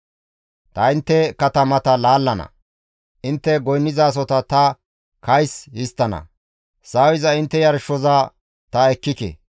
Ta intte katamata laallana; intte goynnizasota ta kays histtana; sawiza intte yarshoza ta ekkike.